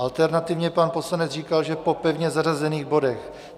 Alternativně pan poslanec říkal, že po pevně zařazených bodech.